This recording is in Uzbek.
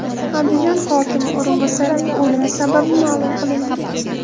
Andijon hokimi o‘rinbosarining o‘limi sababi ma’lum qilindi.